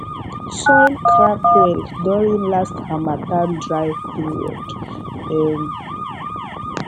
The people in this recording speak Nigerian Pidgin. soil crack well during last harmattan dry period um